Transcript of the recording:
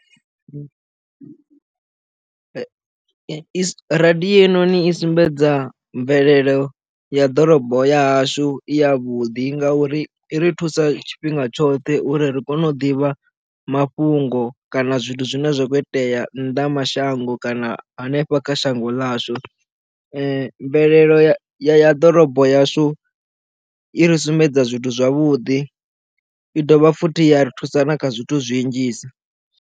Radio hei noni sumbedza mvelelo ya ḓorobo ya hashu i ya vhuḓi ngauri i ri thusa tshifhinga tshoṱhe uri ri kone u ḓivha mafhungo kana zwithu zwine zwa khou itea nnḓa mashango kana hanefha kha shango ḽashu mvelelo ya ḓorobo yashu i ri sumbedza zwithu zwavhuḓi i dovha futhi ya ri thusa na kha zwithu zwi nnzhisa.